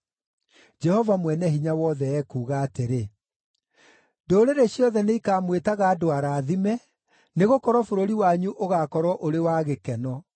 Jehova Mwene-Hinya-Wothe ekuuga atĩrĩ, “Ndũrĩrĩ ciothe nĩikamwĩtaga andũ arathime, nĩgũkorwo bũrũri wanyu ũgaakorwo ũrĩ wa gĩkeno.”